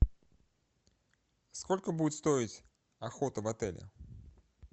сколько будет стоить охота в отеле